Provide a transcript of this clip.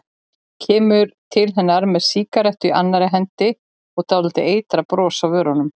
Kemur til hennar með sígarettu í annarri hendi og dálítið eitrað bros á vörunum.